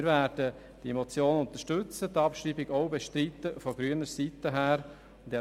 Wir werden die Motion unterstützen und die Abschreibung von grüner Seite auch bestreiten.